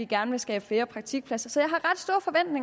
gerne vil skabe flere praktikpladser så jeg